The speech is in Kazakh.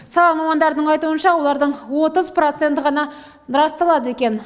сала мамандарының айтуынша олардың отыз проценті ғана расталады екен